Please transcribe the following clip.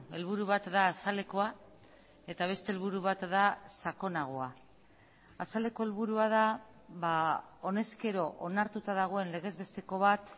helburu bat da azalekoa eta beste helburu bat da sakonagoa azaleko helburua da honezkero onartuta dagoen legez besteko bat